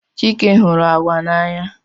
Chike hụrụ agwa n'anya.